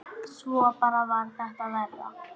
Svo bara varð þetta verra.